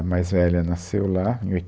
A mais velha nasceu lá, em